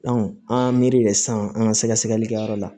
an miiri de san an ga sɛgɛsɛgɛli kɛyɔrɔ la